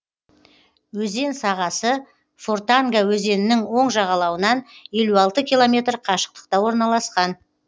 өзен сағасы фортанга өзенінің оң жағалауынан елу алты километр қашықтықта орналасқан